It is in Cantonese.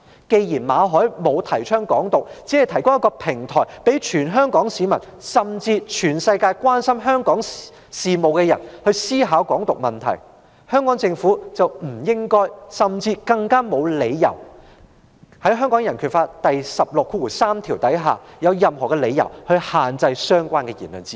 既然馬凱沒有提倡"港獨"，只是提供一個平台，讓全港市民，甚至所有關心香港事的人思考"港獨"問題，香港政府便不應該也沒有理由限制言論自由，《香港人權法案條例》第163條也沒有訂明限制言論自由的任何理由。